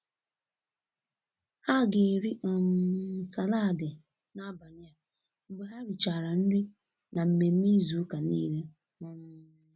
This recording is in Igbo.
Ha ga-eri um salaadi n'abalị a mgbe ha richara nri na mmemme izu ụka niile. um